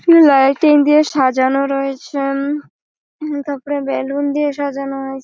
শুধু লাইটিং দিয়ে সাজানো রয়েছেন-ন । উম তারপর বেলুন দিয়ে সাজানো হয়েছে।